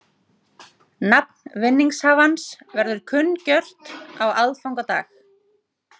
Nafn vinningshafans verður kunngjört á aðfangadag